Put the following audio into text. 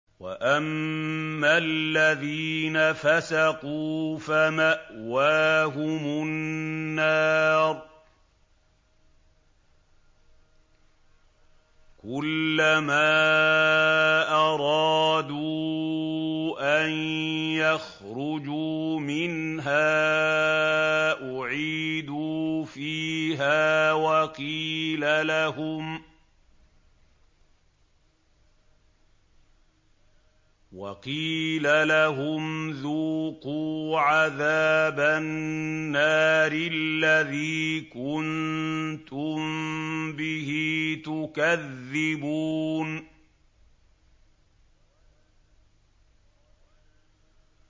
وَأَمَّا الَّذِينَ فَسَقُوا فَمَأْوَاهُمُ النَّارُ ۖ كُلَّمَا أَرَادُوا أَن يَخْرُجُوا مِنْهَا أُعِيدُوا فِيهَا وَقِيلَ لَهُمْ ذُوقُوا عَذَابَ النَّارِ الَّذِي كُنتُم بِهِ تُكَذِّبُونَ